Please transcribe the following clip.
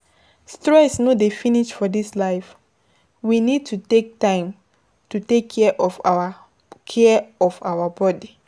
Stress no dey finish for this life, we need to take time to take care of our care of our body